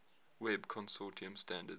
web consortium standards